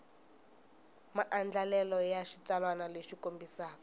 maandlalelo ya xitsalwana lexi kombisaka